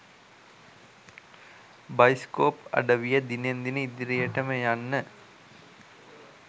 bioscope අඩවිය දිනෙන් දින ඉදිරියටම යන්න